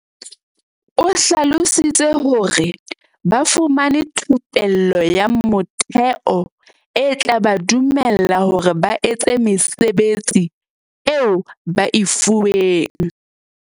O hlalositse hore, "Ba fumane thupello ya motheo e tla ba dumella hore ba etse mesebetsi eo ba e fuweng."